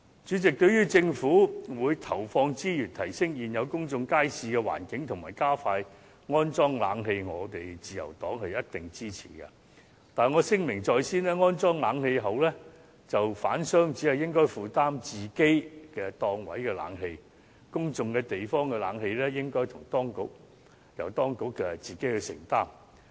主席，對於政府將投放資源，提升現有公眾街市的環境及加快安裝冷氣，自由黨一定支持，但我聲明在先，安裝冷氣後，販商只應負擔自己檔位的冷氣費，公眾地方的冷氣費則應由當局自行承擔。